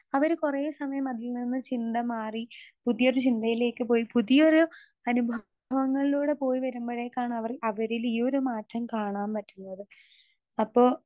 Speaker 2 അവര് കൊറേ സമയം അതിൽ നിന്ന് ചിന്ത മാറി പുതിയൊരു ചിന്തയിലേക്ക് പോയി പുതിയൊരു അനുഭവങ്ങളിലൂടെ പോയി വരുമ്പഴേക്കാണവര് അവരിലീയൊരു മാറ്റം കാണാൻ പറ്റുന്നത്. അപ്പൊ.